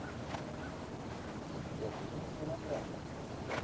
у тебя будет мелодрама